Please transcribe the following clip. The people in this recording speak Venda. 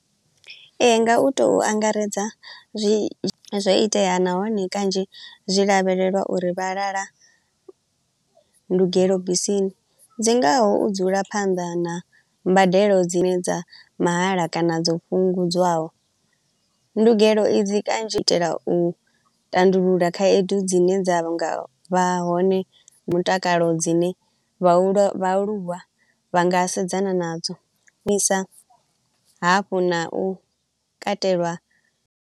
Ee, nga u to u angaredza zwi zwo itea nahone kanzhi zwi lavhelelwa uri vha lala ndugelo bisini. Dzi ngaho u dzula phanḓa na mbadelo dzine dza mahala kana dzo fhungudzwaho, ndugelo idzi kanzhi u itela u tandulula khaedu dzine dza nga vha hone mutakalo dzine vhahu vhaaluwa vha nga sedzana nadzo, vhuisa hafhu na u katelwa.